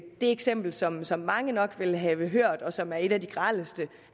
eksempel som som mange nok vil have hørt og som er et af de grelleste